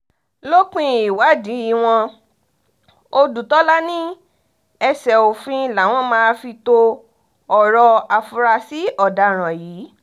lópin ìwádìí wọn ọ̀dùtòlà ní ẹsẹ òfin làwọn máa fi to ọ̀rọ̀ àfúrásì ọ̀daràn yìí